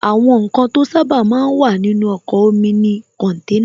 Àwọn ǹkan to sábà máa ń wà nínú ọkọ̀ omi ni kọ̀nténà